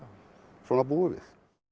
svona búum við